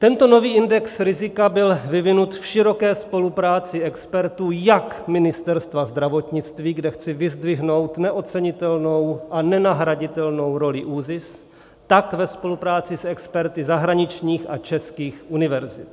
Tento nový index rizika byl vyvinut v široké spolupráci expertů jak Ministerstva zdravotnictví, kde chci vyzdvihnout neocenitelnou a nenahraditelnou roli ÚZIS, tak ve spolupráci s experty zahraničních a českých univerzit.